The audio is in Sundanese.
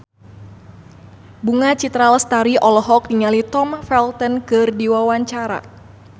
Bunga Citra Lestari olohok ningali Tom Felton keur diwawancara